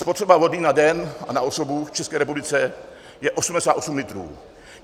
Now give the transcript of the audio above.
Spotřeba vody na den a na osobu v České republice je 88 litrů.